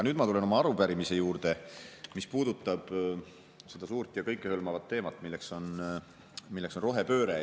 Nüüd ma tulen oma arupärimise juurde, mis puudutab seda suurt ja kõikehõlmavat teemat, mis on rohepööre.